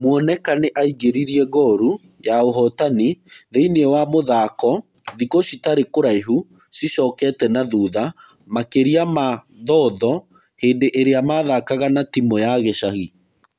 Mwoneka nĩ aingĩririe ngoru ya ũhotani thĩiniĩ wa mũthako thĩkũcitarĩ kũraihu cicokete na thutha makĩria ma Thotho hĩndĩ ĩrĩa mathakaga na timu ya gĩcagi.